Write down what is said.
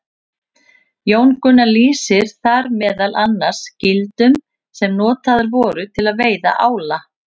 Jón Gunnar lýsir þar meðal annars gildrum sem notaðar voru til að veiða ála.